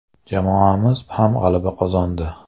Jamoamiz ham g‘alaba qozondi.